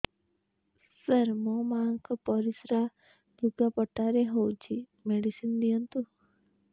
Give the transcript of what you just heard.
ସାର ମୋର ମାଆଙ୍କର ପରିସ୍ରା ଲୁଗାପଟା ରେ ହଉଚି ମେଡିସିନ ଦିଅନ୍ତୁ